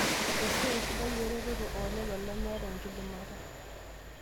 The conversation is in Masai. Esiai sidia eretoto oo lelo lemeeta enkidimata